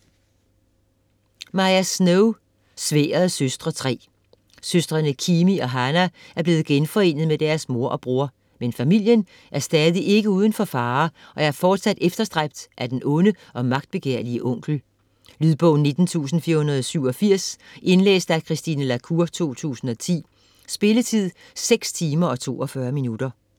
Snow, Maya: Sværdets søstre: 3 Søstrene Kimi og Hana er blevet genforenet med deres mor og bror. Men familien er stadig ikke uden for fare og er fortsat efterstræbt af den onde og magtbegærlige onkel. Lydbog 19487 Indlæst af Christine la Cour, 2010. Spilletid: 6 timer, 42 minutter.